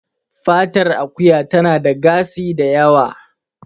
Fatar Akuya tana da gasi da yawa